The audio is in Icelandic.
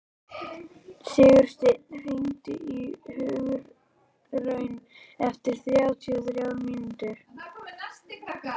Sigursteinn, hringdu í Hugraun eftir þrjátíu og þrjár mínútur.